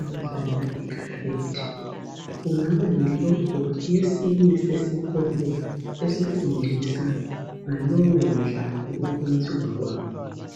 abadlala ikarate. Kungaba yi logo yesinye sesikolo esifundisa ngalowo mdlalo ukwenziwa kwawo.